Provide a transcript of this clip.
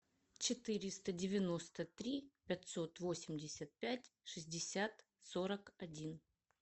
четыреста девяносто три пятьсот восемьдесят пять шестьдесят сорок один